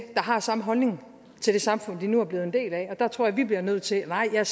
der har samme holdning til det samfund de nu er blevet en del af og der tror jeg vi bliver nødt til nej jeg